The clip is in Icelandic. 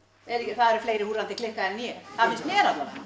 það eru fleiri húrrandi klikkaðir en ég það finnst mér alla vega